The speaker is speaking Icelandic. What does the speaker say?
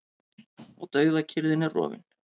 Og dauðakyrrðin er rofin.